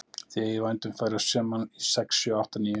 Nú eigið þið í vændum að vera saman í sex sjö átta níu